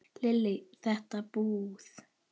Lillý:. þetta búið?